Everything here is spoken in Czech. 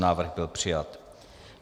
Návrh byl přijat.